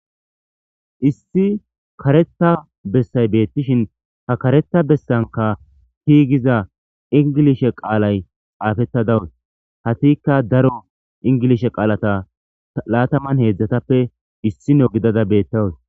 Issi kareta bessay beettishin ha kareta bessanka tigiza ingilishe qaalay xaafetta dawus hatikka daro ingilish.e qaalata laataman heedzdzatappe issino gidada beettawus